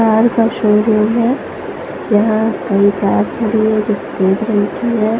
Car का showroom है यहाँ कई कार खड़ी है जो सफेद रंग की है।